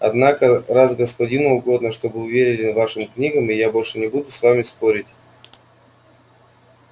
однако раз господину угодно чтобы вы верили вашим книгам я больше не буду с вами спорить